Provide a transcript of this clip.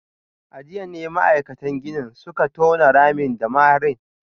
A jiya ne ma’aikatan ginin suka tona ramin da maharin